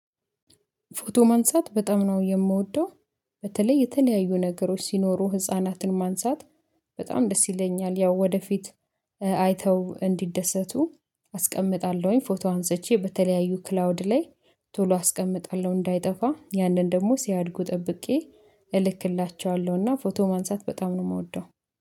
ፎቶ ማንሳት በጣም ነው የምወደው። በተለይ የተለያዩ ነገሮች ሲኖሩ ህፃናትን ማንሳት በጣም ደስ ይለኛል። ያው ወደፊት አይተው እንዲደሰቱ አስቀምጣለሁኝ። ፎቶ አንስቼ በተለያዩ ክላውድ ላይ ቶሎ አስቀምጣለሁ እንዳይጠፋ ያንን ደግሞ ሲያድጉ ጠብቄ እልክላቸዋለሁ እና ፎቶ ማንሳት በጣም ነው የምወደው።